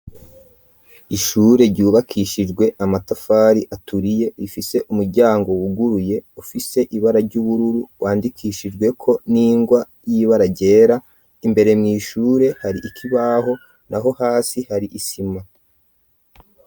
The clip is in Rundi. Ishure ryubakishijwe amatafari aturiye, rifise umuryango wuguruye ufise ibara ry'ubururu, wandikishijweko n'ingwa y'ibara ryera, imbere mw'ishure hari ikibaho, naho hasi hari isima.